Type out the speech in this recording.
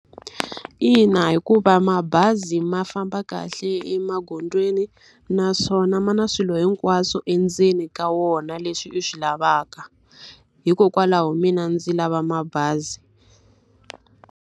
Ina, hikuva mabazi ma famba kahle emagondzweni naswona ma na swilo hinkwaswo endzeni ka wona leswi u swi lavaka. Hikokwalaho mina ndzi lava mabazi.